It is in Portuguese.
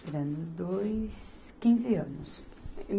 dois... quinze anos.